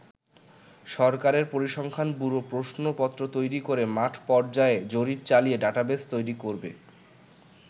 সরকারের পরিসংখ্যান ব্যুরো প্রশ্নপত্র তৈরি করে মাঠ পর্যায়ে জরিপ চালিয়ে ডাটাবেজ তৈরি করবে।